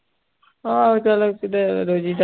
ਆਹੋ ਚੱਲ ਕਿਤੇ ਰੋਜੀ ਦਾ